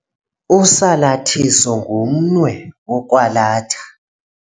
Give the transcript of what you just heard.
Usalathiso ngumnwe wokwalatha.